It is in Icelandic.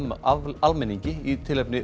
almenningi í tilefni